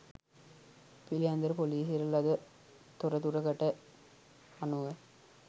පිළියන්දල ‍පොලීසියට ලද තොරතුරකට අනුව